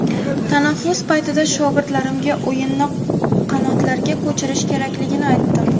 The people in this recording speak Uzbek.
Tanaffus paytida shogirdlarimga o‘yinni qanotlarga ko‘chirish kerakligini aytdim.